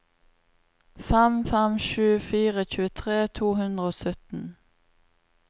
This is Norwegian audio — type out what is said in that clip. fem fem sju fire tjuetre to hundre og sytten